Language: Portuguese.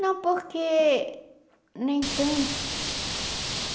Não, porque nem tanto.